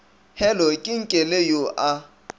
hello ke nkele yo a